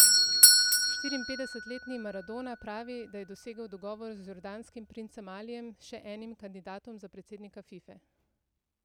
Štiriinpetdesetletni Maradona pravi, da je dosegel dogovor z jordanskim princem Alijem, še enim kandidatom za predsednika Fife.